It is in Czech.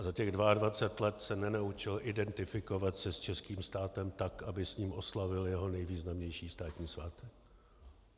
A za těch 22 let se nenaučil identifikovat se s českým státem tak, aby s ním oslavil jeho nejvýznamnější státní svátek.